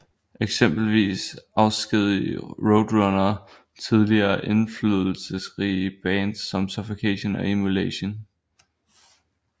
Eksempelvis afskedigede Roadrunner tidligere indflydelsesrige bands som Suffocation og Immolation